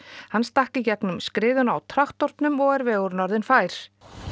hann stakk í gegnum skriðuna á traktornum og vegurinn er orðinn fær